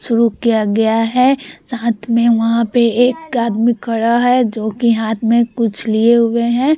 शुरू किया गया है साथ में वहां पे एक आदमी खड़ा है जो की हाथ में कुछ लिए हुए है।